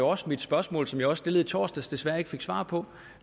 også det spørgsmål som jeg stillede i torsdags men desværre ikke fik svar på